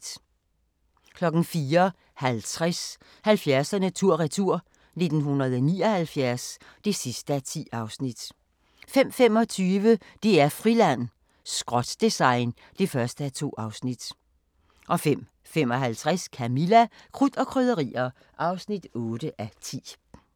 04:50: 70'erne tur-retur: 1979 (10:10) 05:25: DR-Friland: Skrot-design (1:2) 05:55: Camilla – Krudt og Krydderier (8:10)